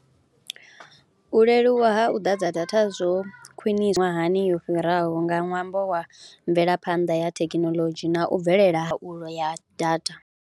U leluwa ha u ḓadza data zwo khwiṋiswa hani yo fhiraho nga ṅwambo wa mvelaphanḓa ya thekinolodzhi na u bvelela ha ya data.